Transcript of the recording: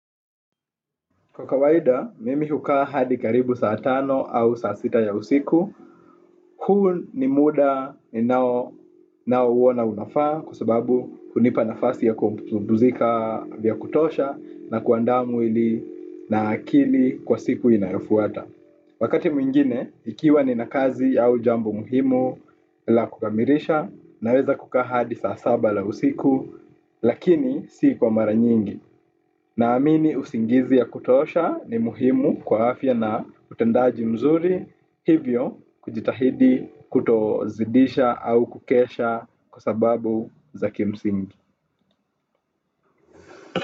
Kwa kawaida, mimi hukaa hadi karibu saa tano au saa sita ya usiku, huu ni muda ninao uona unafaa kwa sababu hunipa nafasi ya kupumzika vya kutosha na kuaanda mwili na akili kwa siku inayofuata. Wakati mwingine, ikiwa nina kazi ya ujambo muhimu la kukamilisha naweza kukaa hadi saa saba la usiku lakini si kwa mara nyingi. Naamini usingizi ya kutosha ni muhimu kwa afya na utendaji mzuri hivyo kujitahidi kutozidisha au kukesha kwa sababu za kimsingi.